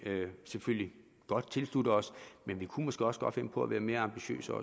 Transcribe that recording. selvfølgelig godt tilslutte os men vi kunne måske også godt finde på at være mere ambitiøse